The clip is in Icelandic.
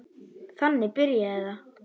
Þannig byrjaði það.